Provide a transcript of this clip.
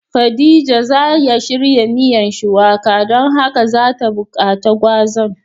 Khadijah za ya shirya miyan shuwaka ,don haka za ta bukace gwazan.